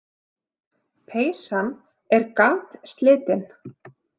Peysan er gatslitin.